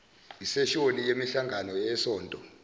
iseshoni yemihlangano yesonto